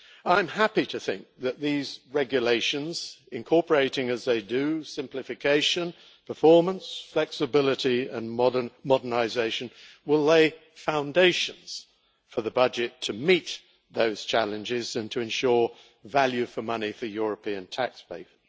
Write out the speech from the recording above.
I am happy to think that these regulations, incorporating as they do simplification, performance, flexibility and modernisation, will lay foundations for the budget to meet those challenges and to ensure value for money for European taxpayers.